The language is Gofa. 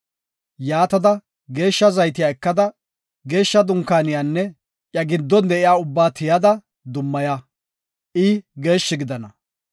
“Yaatada, geeshsha zaytiya ekada, Geeshsha Dunkaaniyanne iya giddon de7iya ubbaba tiyada, dummaya; I geeshshi gidana.